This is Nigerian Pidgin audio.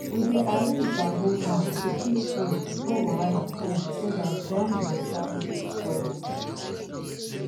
we dey arrange bamboo high to keep food before wahala come so dat ground water no go spoil am